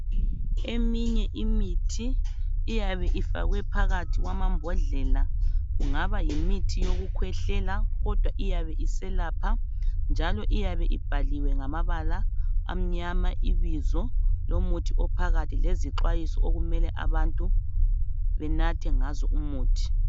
eminye imithi iyabe ifakwe phakathi kwamabhodlela kungaba yimithi yokukhwehlela kodwa iyabe iselapha njalo iyabe ibhaliwe ngamabala amnyama ibizo lomuthi ophakathi lezixwayiso okumele abantu benathe ngayo uuthi